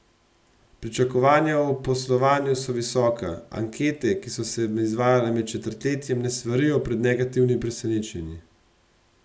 Pričakovanja o poslovanju so visoka, ankete, ki so se izvajale med četrtletjem, ne svarijo pred negativnimi presenečenji.